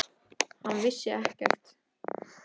Hann vissi ekkert.